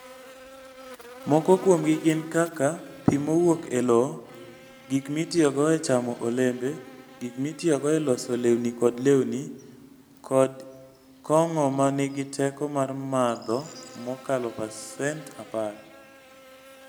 Moko kuomgi gin kaka pi mowuok e lowo, gik mitiyogo e chamo olembe, gik mitiyogo e loso lewni kod lewni, kod kong'o ma nigi teko mar madho mokalo pasent 10.